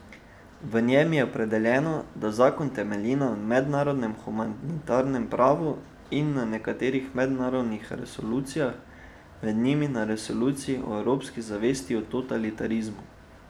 V njem je opredeljeno, da zakon temelji na mednarodnem humanitarnem pravu in na nekaterih mednarodnih resolucijah, med njimi na resoluciji o evropski zavesti in totalitarizmu.